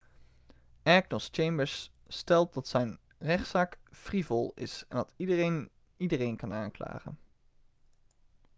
agnost chambers stelt dat zijn rechtszaak 'frivool' is en dat 'iedereen iedereen kan aanklagen.'